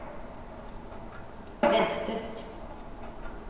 ventet